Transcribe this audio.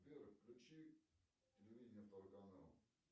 сбер включи телевидение второй канал